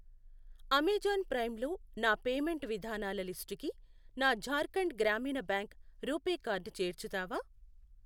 Amazon Prime లో నా payment విధానాల లిస్టుకి నా Jharkhand Gramin bank RuPay card చేర్చుతావా?